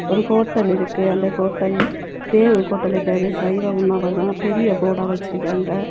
ஒரு ஹோட்டல் இருக்கு. அந்த ஹோட்டல் தேவ் ஹோட்டல் பேரு. சைவ உணவகம் பெரிய போர்டா வெச்சுருக்காங்க.